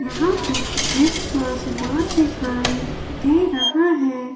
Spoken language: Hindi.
यहां कुछ जिम का सामान दिखाई दे रहा है।